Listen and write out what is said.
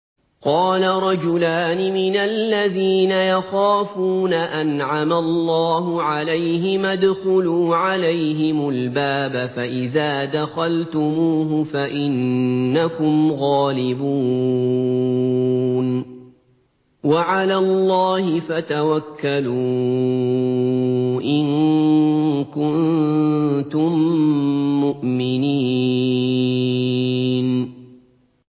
قَالَ رَجُلَانِ مِنَ الَّذِينَ يَخَافُونَ أَنْعَمَ اللَّهُ عَلَيْهِمَا ادْخُلُوا عَلَيْهِمُ الْبَابَ فَإِذَا دَخَلْتُمُوهُ فَإِنَّكُمْ غَالِبُونَ ۚ وَعَلَى اللَّهِ فَتَوَكَّلُوا إِن كُنتُم مُّؤْمِنِينَ